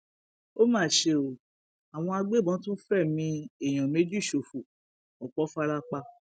ó mà ṣe o àwọn agbébọn tún fẹmí èèyàn méjì ṣòfò ọpọ fara pa